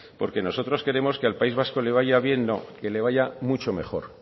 porque nosotros queremos que al país vasco le vaya bien no que le vaya mucho mejor